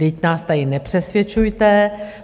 Vždyť nás tady nepřesvědčujte.